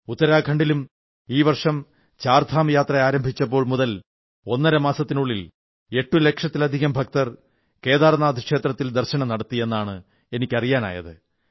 ഉത്തരാഖണ്ഡിലും ഈ വർഷം ചാർധാം യാത്ര ആരംഭിച്ചപ്പോൾ മുതൽ ഒന്നര മാസത്തിനുള്ളിൽ 8 ലക്ഷത്തിലധികം ഭക്തർ കേദാർനാഥ് ക്ഷത്രത്തിൽ ദർശനം നടത്തി എന്നാണ് എനിക്ക് അറിയാനായത്